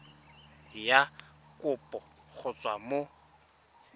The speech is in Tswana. ya kopo go tswa mo